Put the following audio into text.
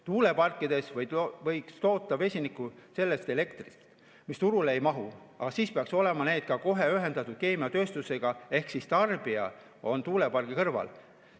Tuuleparkides võiks toota vesinikku sellest elektrist, mis turule ei mahu, aga siis peaks olema need ühendatud keemiatööstusega, ehk siis tarbija on tuulepargi kõrval.